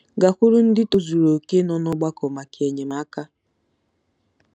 Gakwuru ndị tozuru okè nọ n'ọgbakọ maka enyemaka.